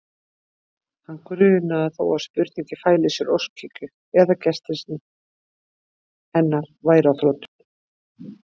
Hann grunaði þó að spurningin fæli í sér óskhyggju, að gestrisni hennar væri á þrotum.